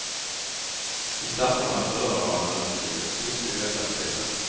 I starterna före har han övertygat stort i lätta segrar.